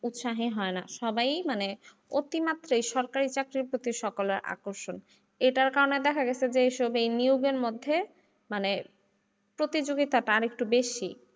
উৎসাহী হয়না সবাই মানে অতি মাত্রায় সরকারি চাকরির প্রতি সকলের আকর্ষণ এটার কারনে দেখা গেছে যে এইসব নিয়োগের মধ্যে মানে প্রতিযোগিতাটা আরেকটু বেশি।